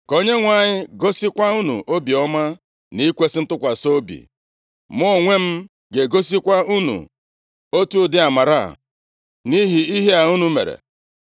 Ka Onyenwe anyị gosikwa unu obiọma na ikwesi ntụkwasị obi. Mụ onwe m ga-egosikwa unu otu ụdị amara a, nʼihi ihe a unu mere.